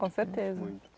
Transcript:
Com certeza.